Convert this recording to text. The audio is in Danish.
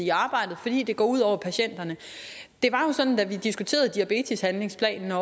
i arbejdet fordi det går ud over patienterne det var jo sådan da vi diskuterede diabeteshandlingsplanen at